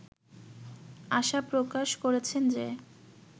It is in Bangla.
আশা প্রকাশ করেছেন যে